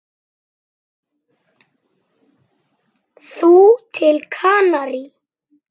Þú til Kanarí?